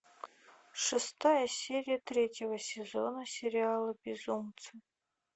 шестая серия третьего сезона сериала безумцы